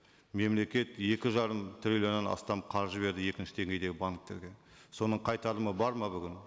мемлекет екі жарым триллионнан астам қаржы берді екінші деңгейдегі банктерге соның қайтарымы бар ма бүгін